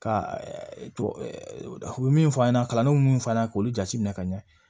Ka tubabu u bɛ min fɔ an ɲɛna kalandenw bɛ min fɔ an ɲɛna k'olu jateminɛ ka ɲɛ